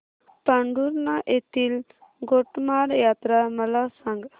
पांढुर्णा येथील गोटमार यात्रा मला सांग